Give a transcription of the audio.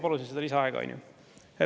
Kolm minutit lisaaega, palun!